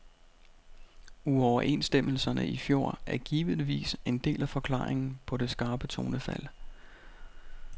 Uoverenstemmelserne i fjor er givetvis en del af forklaringen på det skarpe tonefald.